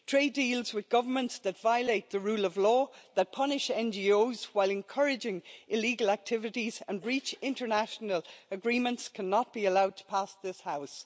Trade deals with governments that violate the rule of law, that punish NGOs while encouraging illegal activities and that breach international agreements cannot be allowed to pass this House.